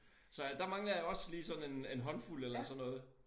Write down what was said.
Så jeg der mangler jeg også lige sådan en en håndfuld eller sådan noget